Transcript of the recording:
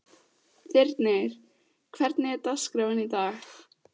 Þyrnir, hvernig er dagskráin í dag?